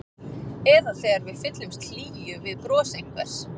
Eða þegar við fyllumst hlýju við bros einhvers.